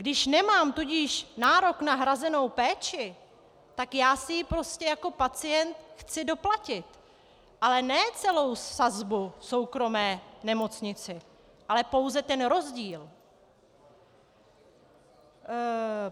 Když nemám tudíž nárok na hrazenou péči, tak já si ji prostě jako pacient chci doplatit, ale ne celou sazbu v soukromé nemocnici, ale pouze ten rozdíl.